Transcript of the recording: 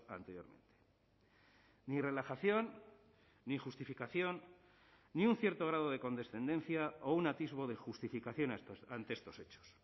anteriormente ni relajación ni justificación ni un cierto grado de condescendencia o un atisbo de justificación ante estos hechos